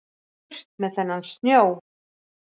Burt með þennan snjó.